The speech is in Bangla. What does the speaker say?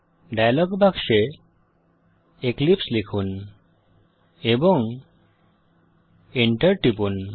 ডায়ালগ বাক্সে এক্লিপসে লিখুন এবং Enter টিপুন